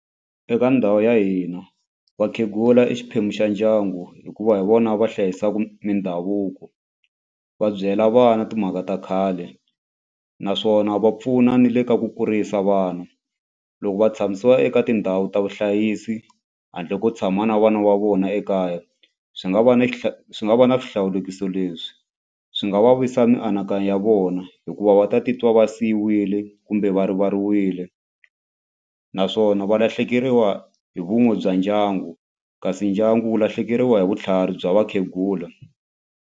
Eka ndhawu ya hina vakhegula i xiphemu xa ndyangu hikuva hi vona va hlayisaka mindhavuko va byela vana timhaka ta khale naswona va pfuna ni le ka ku kurisa vana. Loko va tshamisiwa eka tindhawu ta vuhlayisi handle ko tshama na vana va vona ekaya swi nga va ni swi nga va na swihlawulekisi leswi swi nga va vavisa mianakanyo ya vona hikuva va ta titwa va siyiwile kumbe va rivaleriwile naswona va lahlekeriwa hi vun'we bya ndyangu kasi ndyangu wu lahlekeriwa hi vutlhari bya vakhegula.